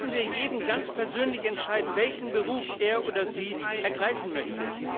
Lassen wir jeden ganz persönlich entscheiden, welchen Beruf er oder sie ergreifen möchte.